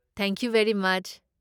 Thank you very ꯃꯆ!